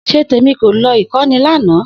Setemi ko lọ ìkọ́ni lana.